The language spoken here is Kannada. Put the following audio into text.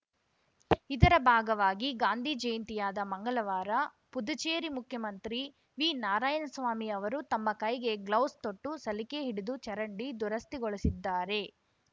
ಇದರ ಭಾಗವಾಗಿ ಗಾಂಧಿ ಜಯಂತಿಯಾದ ಮಂಗಳವಾರ ಪುದುಚೇರಿ ಮುಖ್ಯಮಂತ್ರಿ ವಿನಾರಾಯಣಸ್ವಾಮಿ ಅವರು ತಮ್ಮ ಕೈಗೆ ಗ್ಲೌಸ್‌ ತೊಟ್ಟು ಸಲಿಕೆ ಹಿಡಿದು ಚರಂಡಿ ದುರಸ್ತಿಗೊಳಿಸಿದ್ದಾರೆ